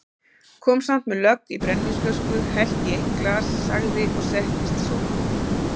Kom samt með lögg í brennivínsflösku, hellti í eitt glas, sagði og settist í sófann